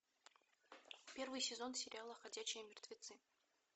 первый сезон сериала ходячие мертвецы